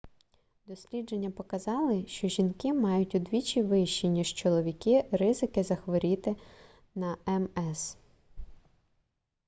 дослідження показали що жінки мають удвічі вищі ніж чоловіки ризики захворіти на мс